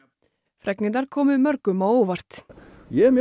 fregnirnar komu mörgum á óvart ég er mjög